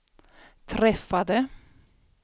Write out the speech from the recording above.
träffade